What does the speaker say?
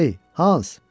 Ey, Hans!